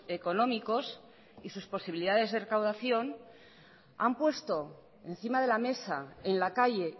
económicos y sus posibilidades de recaudación han puesto encima de la mesa en la calle